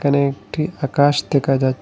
এখানে একটি আকাশ দেখা যা--